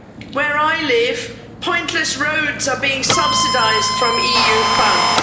Where I live, pointless roads are being subsidised from EU funds.